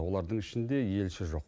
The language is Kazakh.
олардың ішінде елші жоқ